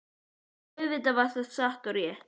Og auðvitað var það satt og rétt.